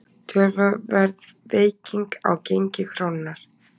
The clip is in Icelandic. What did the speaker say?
Töluverð veiking á gengi krónunnar